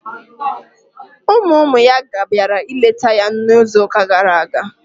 Ụmụ ụmụ ya bịara ịleta ya n'izuụka gara aga.